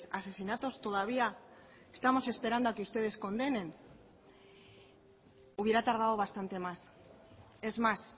asesinatos todavía estamos esperando a que ustedes condenen hubiera tardado bastante más es más